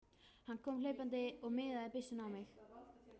Hann kom hlaupandi og miðaði byssunni á mig.